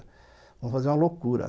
Vamos fazer uma loucura.